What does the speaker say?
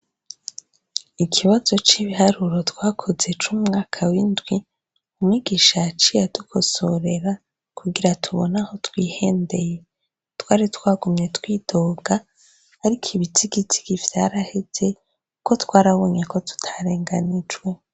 Ikibazo c'ibiharuro twakoze co mu mwaka w'indwi, mwigisha yaciy' adukosorera, kugira tubon' aho twihendeye twaritwagumye twidoga, arik' ibizigizigi vyaraheze ko twarabonye ko tutarenganijwe.